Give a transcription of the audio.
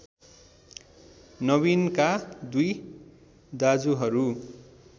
नबिनका २ दाजुहरू